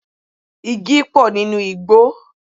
Igi pọ̀ nínú igbò